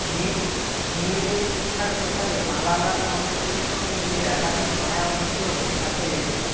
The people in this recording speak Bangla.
মেয়েদের শিক্ষার প্রসারে মালালা ফাউন্ডেশনের সঙ্গে মিলে একাধিক নয়া উদ্যোগ অ্যাপেলের